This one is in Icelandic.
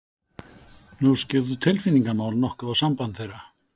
Nú skyggðu tilfinningamál nokkuð á samband þeirra.